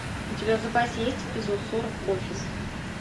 у тебя в запасе есть эпизод сорок офис